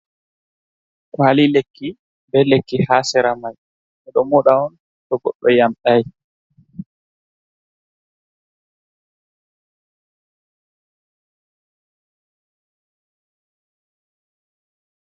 Kwali lekki, be lekki ha sera mai. Ɓe ɗo moɗa on to goɗɗo yamɗai.